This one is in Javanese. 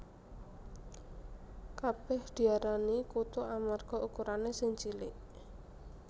Kabèh diarani kutu amarga ukurané sing cilik